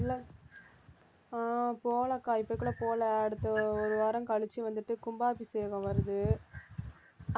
இல்ல~ ஆஹ் போகலைக்கா இப்ப கூட போகல அடுத்த ஒரு வாரம் கழிச்சு வந்துட்டு கும்பாபிஷேகம் வருது